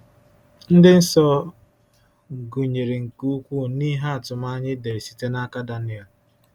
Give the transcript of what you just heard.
Ndị nsọ gụnyere nke ukwuu n’ihe atụmanya e dere site n’aka Daniel.